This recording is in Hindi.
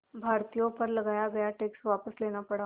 भारतीयों पर लगाया गया टैक्स वापस लेना पड़ा